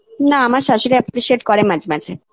না আমার শাশুড়ি appreciate করে মাঝে মাঝে